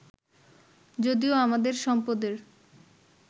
যদিও আমাদের সম্পদের